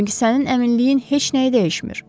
Çünki sənin əminliyin heç nəyi dəyişmir.